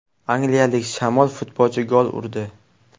Angliyalik shamol-futbolchi gol urdi.